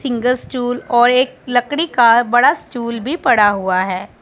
Single stool और एक लकड़ी का बड़ा स्टूल भी पड़ा हुआ है।